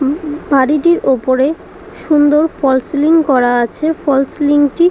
উম um বাড়িটির উপরে সুন্দর ফলস সিলিং করা আছে ফলস সিলিং টি --